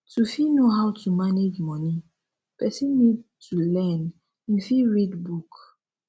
to fit know how to manage money person need to learn im fit read book